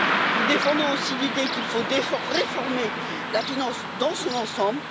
Nous défendons aussi l'idée qu'il faut réformer la finance dans son ensemble.